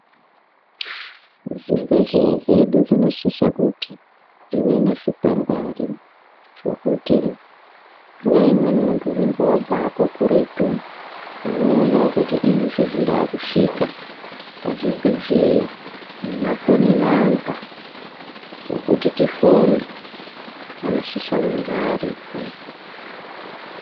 Zvibhedhleya zvedu zvinosisa kuti zvive nezvikwangwari zvokuti nguva imweni muntu unonga vabvako kuretu. Unoonavo kuti izvezvi ndavakusvika pazvibhedhleya nemafoni namba ekuti tifone anosisa kunge aripo.